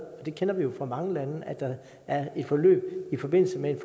og det kender vi fra mange lande at der er et forløb i forbindelse med en